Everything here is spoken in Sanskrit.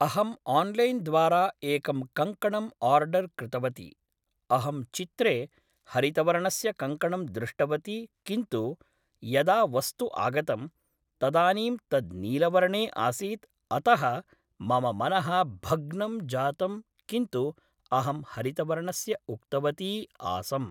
अहं आन्लैन् द्वारा एकं कङ्कणं ओर्डर् कृतवती अहं चित्रे हरितवर्णस्य कङ्कणं दृष्टवती किन्तु यदा वस्तु आगतं तदानीं तद् नीलवर्णे आसीत् अतः मम मनः भग्नं जातं किन्तु अहं हरितवर्णस्य उक्तवती आसम्